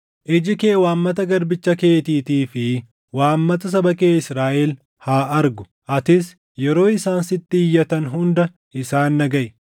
“Iji kee waammata garbicha keetiitii fi waammata saba kee Israaʼel haa argu; atis yeroo isaan sitti iyyatan hunda isaan dhagaʼi.